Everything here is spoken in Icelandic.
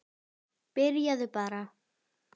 Byrjaðu bara.